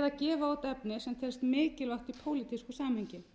eða gefa út efni sem telst mikilvægt í pólitísku samhengi